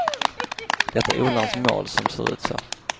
Det är odlarens mål som ser ut så.